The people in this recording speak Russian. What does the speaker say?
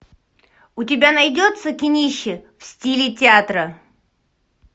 у тебя найдется кинище в стиле театра